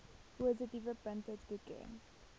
positiewe punte toeken